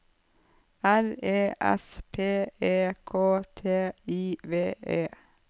R E S P E K T I V E